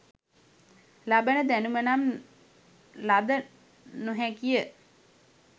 ලබන දැනුම නම් ලද නො හැකි ය